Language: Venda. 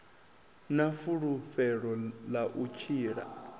na fulufhelo ḽa u tshila